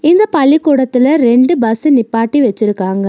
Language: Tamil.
இந்த பள்ளிக்கூடத்தில ரெண்டு பஸ் நிப்பாட்டி வச்சிருக்காங்க.